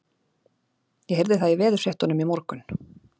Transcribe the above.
Ég heyrði það í veðurfréttunum í morgun.